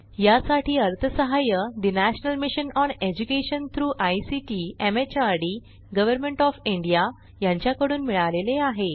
यासाठी अर्थसहाय्य national mission on education through ICT MHRD government of India यांच्याकडून मिळालेले आहे